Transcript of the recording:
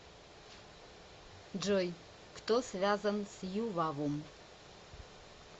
джой кто связан с ювавум